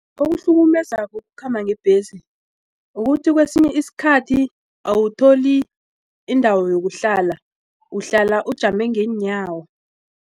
Okuhlukumezako ukukhamba ngebhesi kukuthi kwesinye isikhathi awutholi indawo yokuhlala uhlala ujame ngeenyawo.